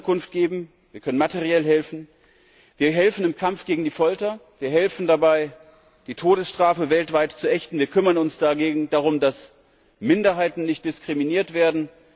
Wir können Unterkunft geben, wir können materiell helfen, wir helfen im Kampf gegen die Folter, wir helfen dabei, die Todesstrafe weltweit zu ächten, wir kümmern uns darum, dass Minderheiten nicht diskriminiert werden.